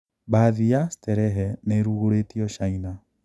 Bathi ya sterehe niirugũrĩtio China.